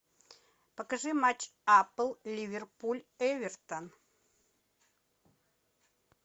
покажи матч апл ливерпуль эвертон